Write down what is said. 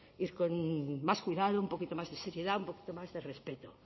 ir con más cuidado un poquito más de seriedad un poquito más de respeto